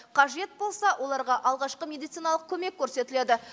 қажет болса оларға алғашқы медициналық көмек көрсетіледі